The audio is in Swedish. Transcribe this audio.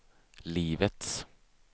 livets